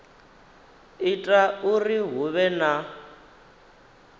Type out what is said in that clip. ita uri hu vhe na